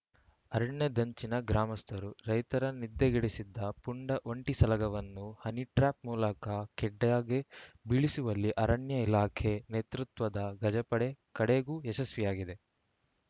ಅರಣ್ಯದಂಚಿನ ಗ್ರಾಮಸ್ಥರು ರೈತರ ನಿದ್ದೆಗೆಡಿಸಿದ್ದ ಪುಂಡ ಒಂಟಿಸಲಗವನ್ನು ಹನಿಟ್ರ್ಯಾಪ್‌ ಮೂಲಕ ಖೆಡ್ಡಾಗೆ ಬೀಳಿಸುವಲ್ಲಿ ಅರಣ್ಯ ಇಲಾಖೆ ನೇತೃತ್ವದ ಗಜಪಡೆ ಕಡೆಗೂ ಯಶಸ್ವಿಯಾಗಿದೆ